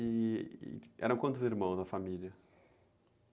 E eram quantos irmãos na família?